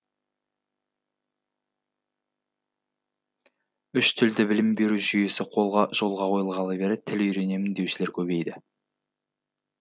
үш тілді білім беру жүйесі жолға қойылғалы бері тіл үйренемін деушілер көбейді